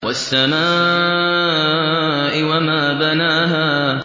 وَالسَّمَاءِ وَمَا بَنَاهَا